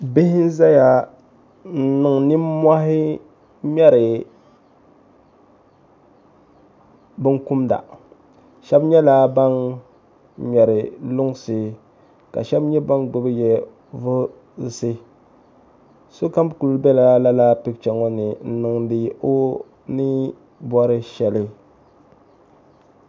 bihi n zaya n-niŋ nimmohi ŋmari bin kumda shɛba nyɛla ban ŋmari lunsi ka shɛba nyɛ ban gbubibi yɛ vuhisi sokam ku bela lala picha ŋɔ ni niŋdi o ni bɔri shɛli